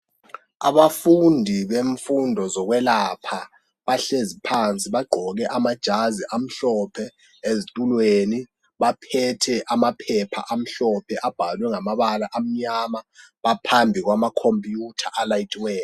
Abafundi bemfudo zokwelapha bahlezi phansi bagqoke amajazi amhlophe ezitulweni baphethe amaphepha amhlophe abhalwe ngamabala amyama baphambi kwama comuputer alayithiweyo.